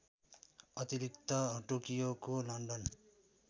अतिरिक्त टोकियोको लन्डन